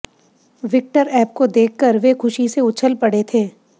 Victor app को देखकर वे खुशी से उछल पड़े थे